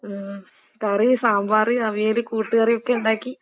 ആഹ്, കറി സാമ്പാറ്, അവിയല്, കൂട്ട്കറിയൊക്കെ ഇണ്ടാക്കി.